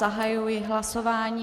Zahajuji hlasování.